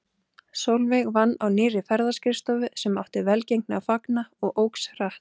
Sólveig vann á nýrri ferðaskrifstofu sem átti velgengni að fagna og óx hratt.